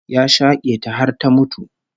Ya shake ta har ta mutu